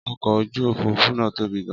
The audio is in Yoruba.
Ọkọ̀ ojú òfuurufú náà tóbi gan.